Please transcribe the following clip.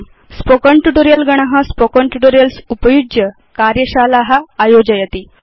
spoken tutorial गण spoken tutorials उपयुज्य कार्यशाला आयोजयति